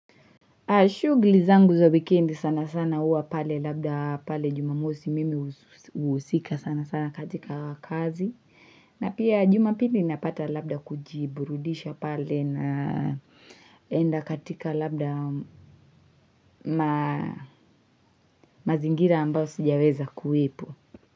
Shughli zangu za weekend sana sana huwa pale labda pale jumamosi mimi husika sana sana katika kazi na pia jumapili napata labda kujiburudisha pale na enda katika labda mazingira ambao sijaweza kuwepo.